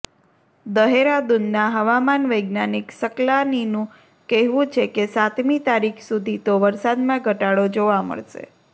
દહેરાદૂનના હવામાન વૈજ્ઞાનિક સકલાનીનું કહેવું છે કે સાતમી તારીખ સુધી તો વરસાદમાં ઘટાડો જોવા મળશે